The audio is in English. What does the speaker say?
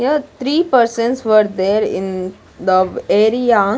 Here three persons were there in the area.